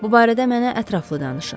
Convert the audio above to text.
Bu barədə mənə ətraflı danışın.